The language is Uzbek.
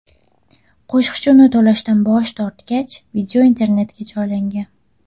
Qo‘shiqchi uni to‘lashdan bosh tortgach, video internetga joylangan.